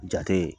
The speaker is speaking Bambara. Jate